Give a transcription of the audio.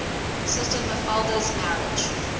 sister mafalda's marriage